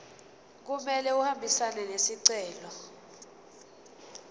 kumele ahambisane nesicelo